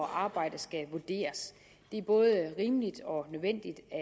at arbejde skal vurderes det er både rimeligt og nødvendigt at